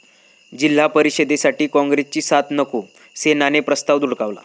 जि.परिषदेसाठी काँग्रेसची साथ नको, सेनेनं प्रस्ताव धुडकावला